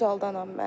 Xocalıdanam mən.